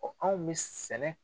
anw bɛ sɛnɛ